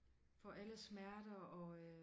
For alle smerter og øh